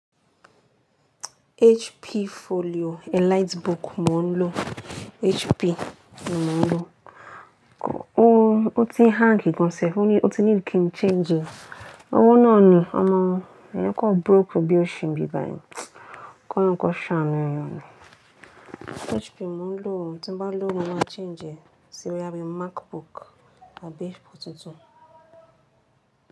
HP Folio EliteBook mò ń lo. HP ni mò ń lo. Ó ti n hàngi gan sẹ̀f, ó ti ní kí n change e. Ọwó náà ni, ọmọ, eeyan kan broke bí óṣi ń bí báyìí. Kọ́loun kọan ṣànu ẹeyan ni. HP mò ń lò, tí n bá lòwo mo mà changè é sí boyá bí MacBook tàbí HP tuntun.